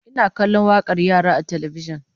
Ina kallon wakar yara a talbijin